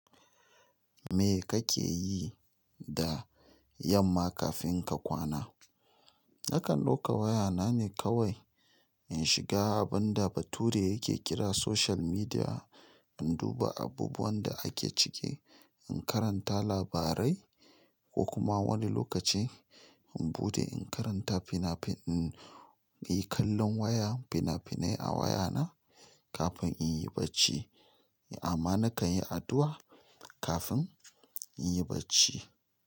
Me kake yi da yamma kafin ka kwana? Nakan ɗauka waya na ne kawai in shiga abun da Bature yake kira social media, in duba abubuwan da ake ciki, in karanta labarai ko kuma wani lokaci in buɗe in karanta finafi-- in yi kallon waya fina-finai a waya na kafin in yi barci. Amma nakan yi addu'a kafin in yi barci.